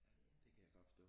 Ja det kan jeg godt forstå